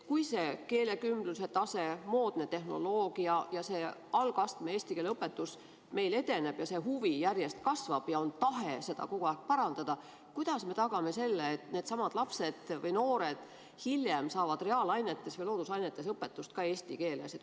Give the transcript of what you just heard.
Kui see keelekümblus, moodne tehnoloogia ja algastme eesti keele õpetus meil edeneb ja see huvi järjest kasvab ja on tahe seda kogu aeg parandada, siis kuidas me tagame selle, et needsamad lapsed või noored hiljem saavad reaalainetes ja loodusainetes õpetust eesti keeles?